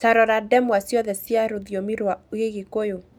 Ta rora ndemwa ciothe cia rũthiomi rwa Gĩgĩkũyũ.